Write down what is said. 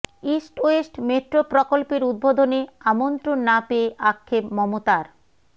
east west metro প্রকল্পের উদ্বোধনে আমন্ত্রণ না পেয়ে আক্ষেপ মমতার